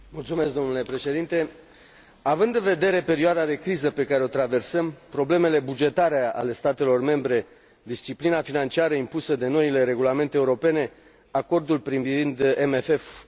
Având în vedere perioada de criză pe care o traversăm, problemele bugetare ale statelor membre, disciplina financiară impusă de noile regulamente europene, acordul privind CFM poate fi considerat un succes.